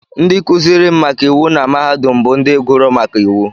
Ndị kuziri m maka iwu na mahadum bụ ndị gụrụ maka iwu